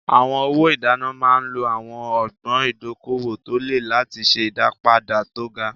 Àwọn owó ìdènà máa ń lo àwọn ọgbọ́n ìdókòwò tó le láti ṣe ìdápadà tó ga.